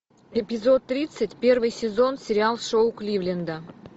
эпизод тридцать первый сезон сериал шоу кливленда